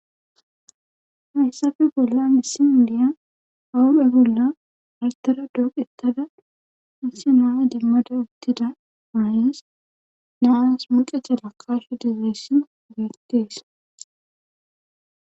hayssafe bolla issi indiya bahuphe bolla artara dooqettada missi naa dimmada uttida maayes naas muqecha lakashu dizayssin geettees